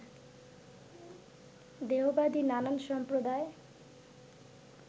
দেহবাদী নানান সম্প্রদায়